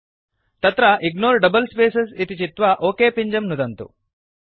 अत्र ignore double spaces इति चित्वा ओक पिञ्जं नुदन्तु